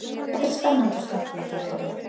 Þetta er spennandi og skemmtilegt verkefni